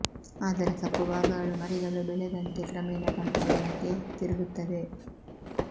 ಆದರೆ ಕಪ್ಪು ಭಾಗಗಳು ಮರಿಗಳು ಬೆಳೆದಂತೆ ಕ್ರಮೇಣ ಕಂಡು ಬಣ್ಣಕ್ಕೆ ತಿರುಗುತ್ತವೆ